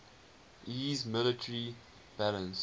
iiss military balance